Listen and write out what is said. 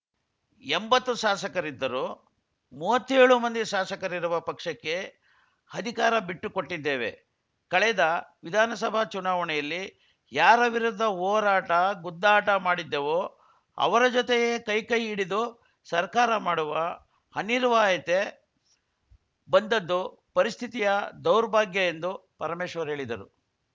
ಎಂಬತ್ತು ಸಾಸಕರಿದ್ದರೂ ಮೂವತ್ತೇಳು ಮಂದಿ ಸಾಸಕರಿರುವ ಪಕ್ಷಕ್ಕೆ ಹಧಿಕಾರ ಬಿಟ್ಟುಕೊಟ್ಟಿದ್ದೇವೆ ಕಳೆದ ವಿಧಾನಸಭಾ ಚುನಾವಣೆಯಲ್ಲಿ ಯಾರ ವಿರುದ್ಧ ಹೋರಾಟಗುದ್ದಾಟ ಮಾಡಿದ್ದೆವೋ ಅವರ ಜೊತೆಯೇ ಕೈಕೈ ಹಿಡಿದು ಸರ್ಕಾರ ಮಾಡುವ ಅನಿರ್ವಾಯತೆ ಬಂದದ್ದು ಪರಿಸ್ಥಿತಿಯ ದೌರ್ಭಾಗ್ಯ ಎಂದು ಪರಮೇಶ್ವರ್‌ ಹೇಳಿದರು